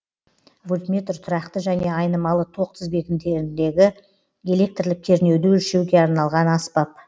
вольтметр тұрақты және айнымалы тоқ тізбектеріндегі электрлік кернеуді өлшеуге арналған аспап